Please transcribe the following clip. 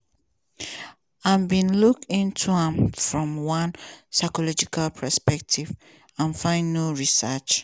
i bin look into am from one psychological perspective and find no research.